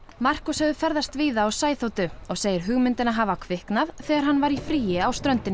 Markus hefur ferðast víða á sæþotu og segir hugmyndina hafa kviknað þegar hann var í fríi á ströndinni